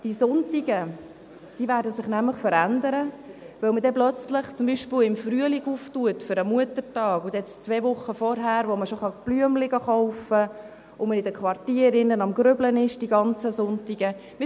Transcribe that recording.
Die Sonntage werden sich verändern, weil man plötzlich zum Beispiel im Frühling für den Muttertag aufmacht, und dann kann man schon zwei Wochen vorher Blumen kaufen gehen und ist in den Quartieren während dieser ganzen Sonntage am Arbeiten.